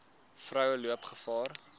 vroue loop gevaar